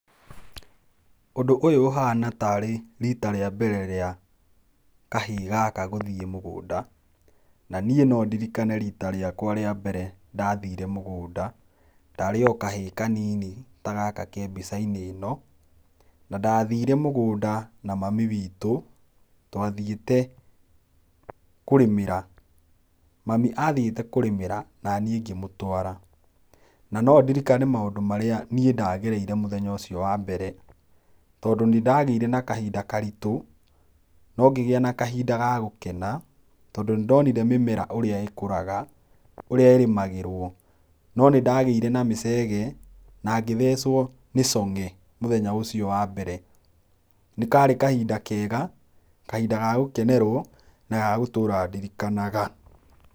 Ũndũ ũyũ ũhana tarĩ rita rĩa mbere rĩa kahĩĩ gaka gũthiĩ mũgũnda, na niĩ nondirikane rita rĩakwa rĩa mbere ndathire mũgũnda. Ndarĩ o kahĩĩ kanini ta gaka ke mbica-inĩ ĩno, na ndathire mũgũnda na mami witũ, twathiĩte kũrĩmĩra. Mami athiĩte kũrĩmĩra naniĩ ngĩmũtwara. Na nandirikane maũndũ marĩa niĩ ndagereire mũthenya ũcio wa mbere, tondũ nĩndagĩire na kahinda karitũ, no ngĩgĩa na kahinda ga gũkena tondũ nĩndonire mĩmera ũrĩa ĩkũraga, ũrĩa ĩrĩmagĩrwo. No nĩndagĩire na mĩcege na ngĩthecũo nĩ cong'e, mũthenya ũcio wa mbere. Nĩkari kahinda kega, kahinda ga gũkenerwo na gagũtũra ndirikanaga.